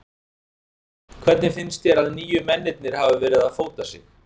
Hvernig finnst þér að nýju mennirnir hafi verið að fóta sig?